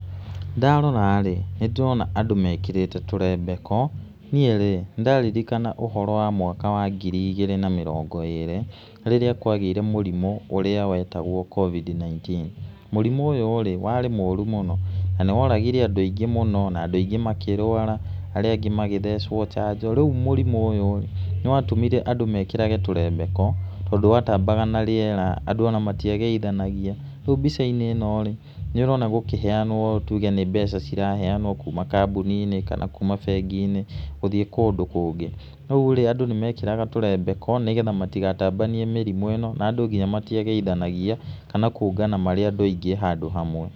Ndarora-rĩ nĩndĩrona andũ mekĩrĩte tũrembeko, niĩ rĩ, nĩndĩraririkana ũhoro wa mwaka wa ngiri igĩrĩ na mĩrongo ĩrĩ, rĩrĩa kwagĩire na mũrimũ ũrĩa wetagwo covid-19, mũrimũ ũyũ rĩ, warĩ mũru mũno, na nĩworagire andũ aingĩ mũno, na andũ aingĩ makĩrwara, arĩa angĩ magĩthecwo njanjo, rĩu mũrimũ ũyũ nĩwatũmire andũ mekĩrage tũremebko, tondũ watambaga na rĩera, andũ ona matiageithanagia, rĩu mbica-inĩ ĩno rĩ, nĩ ũrona gũkĩheanwo mbeca tuge nĩ ciraheanwo kuma kambúni-inĩ kana kuma bengi-inĩ gũthiĩ kũndũ kũngĩ, rĩurĩ andũ nĩmekĩraga tũrembeko nĩgetha amtigatambanie mĩrimũ ĩno na nadũ nginya matiageithanagia, kana kũngana marĩ andũ aingĩ handũ hamwe.